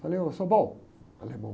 Falei, ôh, alemão.